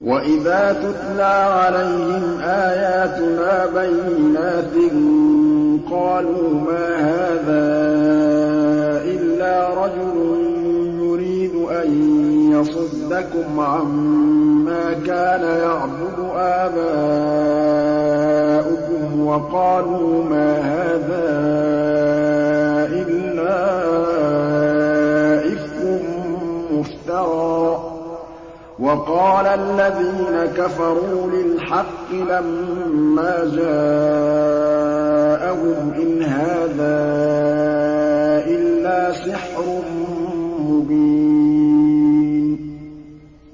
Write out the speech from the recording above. وَإِذَا تُتْلَىٰ عَلَيْهِمْ آيَاتُنَا بَيِّنَاتٍ قَالُوا مَا هَٰذَا إِلَّا رَجُلٌ يُرِيدُ أَن يَصُدَّكُمْ عَمَّا كَانَ يَعْبُدُ آبَاؤُكُمْ وَقَالُوا مَا هَٰذَا إِلَّا إِفْكٌ مُّفْتَرًى ۚ وَقَالَ الَّذِينَ كَفَرُوا لِلْحَقِّ لَمَّا جَاءَهُمْ إِنْ هَٰذَا إِلَّا سِحْرٌ مُّبِينٌ